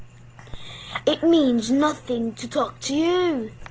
Það þýðir ekkert að tala við þig.